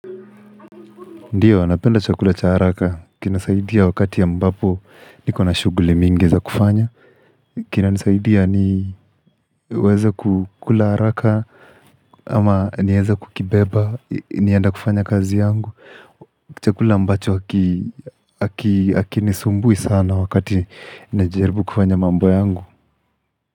Ndio napenda chakula cha haraka kinasaidia wakati ambapo nikona shughul ming za kufanya Kinasaidia niweza kukula haraka ama niweza kukibeba nienda kufanya kazi yangu chakula ambacho hakinisumbui sana wakati najaribu kufanya mambo yangu.